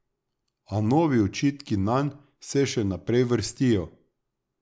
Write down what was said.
A novi očitki nanj se še naprej vrstijo.